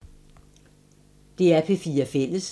DR P4 Fælles